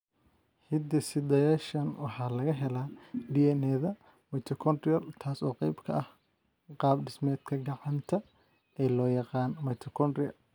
Hidde-sidayaashan waxaa laga helaa DNA-da mitochondrial, taas oo qayb ka ah qaab-dhismeedka gacanta ee loo yaqaan mitochondria.